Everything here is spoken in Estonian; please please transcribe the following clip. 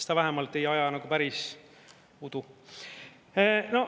Ta vähemalt ei aja nagu päris udu.